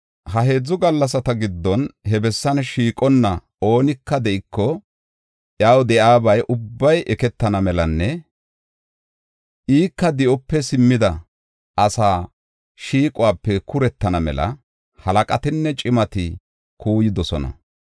Ha heedzu gallasata giddon he bessan shiiqonna oonika de7iko, iyaw de7iyabay ubbay eketana melanne ika di7ope simmida asa shiiquwape kurettana mela halaqatinne cimati oda kuuyidosona.